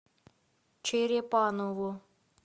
черепаново